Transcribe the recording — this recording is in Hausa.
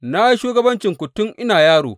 Na yi shugabancinku tun ina yaro.